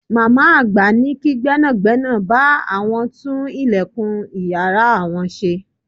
Màmá àgbà ní kí gbẹ́nàgbẹ́nà bá àwọn tún ìlẹ̀kùn ìyára àwọn ṣe.